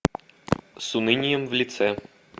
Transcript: с унынием в лице